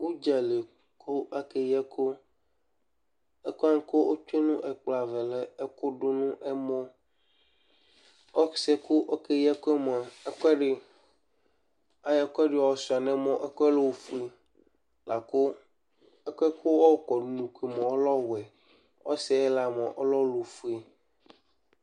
Ʋdza li kʋ akeyi ɛkʋ Ɛkʋ wanɩ kʋ otsue nʋ ɛkplɔ ava yɛ lɛ ɛkʋdʋ nʋ ɛmɔ Ɔsɩ yɛ kʋ ɔkeyi ɛkʋ yɛ mʋa, ɛkʋɛdɩ, ayɔ ɛkʋɛdɩ yɔsʋɩa nʋ ɛmɔ, ɛkʋ yɛ lɛ ofue la kʋ ɛkʋ yɛ kʋ ayɔkɔ nʋ unuku yɛ mʋa, ɔlɛ ɔwɛ Ɔsɩ ayɩɣla mʋa, ɔlɛ ɔlʋfue